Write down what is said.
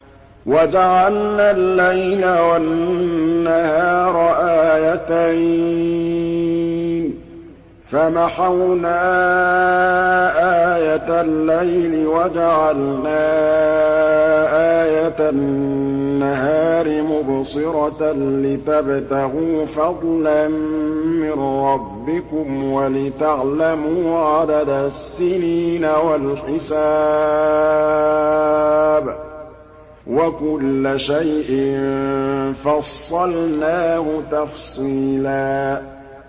وَجَعَلْنَا اللَّيْلَ وَالنَّهَارَ آيَتَيْنِ ۖ فَمَحَوْنَا آيَةَ اللَّيْلِ وَجَعَلْنَا آيَةَ النَّهَارِ مُبْصِرَةً لِّتَبْتَغُوا فَضْلًا مِّن رَّبِّكُمْ وَلِتَعْلَمُوا عَدَدَ السِّنِينَ وَالْحِسَابَ ۚ وَكُلَّ شَيْءٍ فَصَّلْنَاهُ تَفْصِيلًا